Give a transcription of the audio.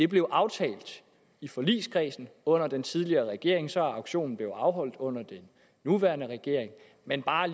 blev aftalt i forligskredsen under den tidligere regering og så er auktionen blevet afholdt under den nuværende regering men bare